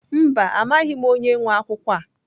Mba, amaghị m onye nwe akwụkwọ a.